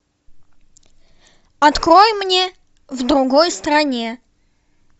открой мне в другой стране